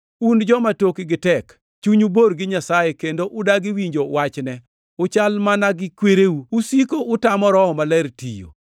“Un joma tokgi tek, chunyu bor gi Nyasaye kendo udagi winjo wachne! Uchal mana gi kwereu. Usiko utamo Roho Maler tiyo!